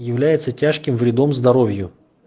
является тяжким вредом здоровью